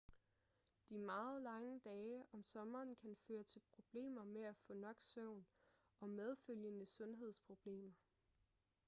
de meget lange dage om sommeren kan føre til problemer med at få nok søvn og medfølgende sundhedsproblemer